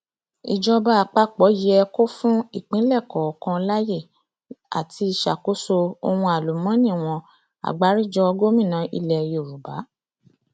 ìjọba àpapọ yẹ kó fún ìpínlẹ kọọkan láyè àti ṣàkóso ohun àlùmọọnì wọn agbáríjọ gómìnà ilẹ yorùbá